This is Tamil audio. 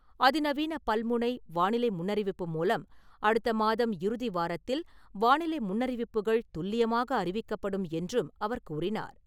அதி நவீன பல்முனை, வானிலை முன்னறிவிப்பு முறை மூலம், அடுத்த மாதம் இறுதி வாரத்தில் வானிலை முன்னறிவிப்புகள் துல்லியமாக அறிவிக்கப்படும் என்றும் அவர் கூறினார்.